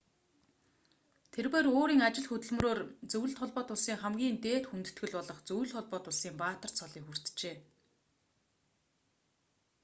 тэрбээр өөрийн ажил хөдөлмөрөөр зөвлөлт холбоот улсын хамгийн дээд хүндэтгэл болох зөвлөлт холбоот улсын баатар цолыг хүртжээ